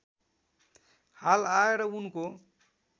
हाल आएर उनको